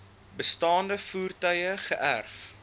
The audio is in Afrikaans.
bestaande voertuie geërf